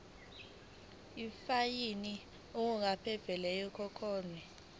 ifayini okungenzeka ikhokhwe